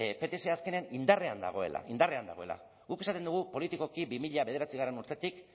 pts azkenean indarrean dagoela indarrean dagoela guk esaten dugu politikoki bi mila bederatzigarrena urtetik